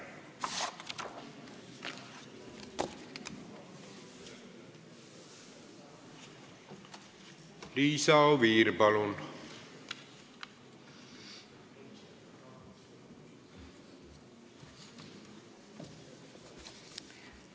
Liisa Oviir, palun!